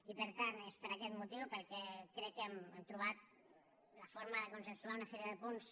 i per tant és per aquest motiu pel qual crec que hem trobat la forma de consensuar una sèrie de punts